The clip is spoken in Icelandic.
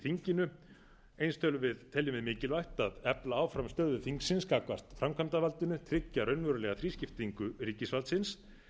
þinginu eins teljum viðmikilvægt að efla áfram stöðu þingsins gagnvart framkvæmdarvaldinu tryggja raunverulega þrískiptingu ríkisvaldsins